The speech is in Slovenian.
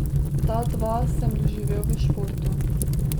Ta dva sem doživel v športu.